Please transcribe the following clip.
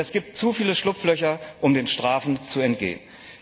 Und es gibt zu viele Schlupflöcher, um den Strafen zu entgehen.